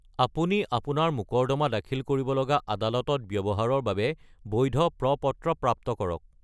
আপুনি আপোনাৰ মোকৰ্দমা দাখিল কৰিব লগা আদালতত ব্যৱহাৰৰ বাবে বৈধ প্ৰ-পত্ৰ প্ৰাপ্ত কৰক।